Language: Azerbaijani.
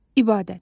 İbadət.